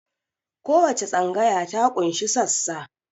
Kowace tsangaya ta ƙunshi sassa